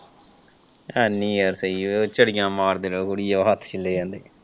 ਹਨੀ ਯਾਰ ਸਹੀ ਉਹ ਚਰੀਆ ਮਾਰਦੇ ਰਹੋ ਜਿਹਦੀ ਵਜਾਹ ਨਾਲ ਹੱਥ ਛਿੱਲੇ ਜਾਂਦੇ।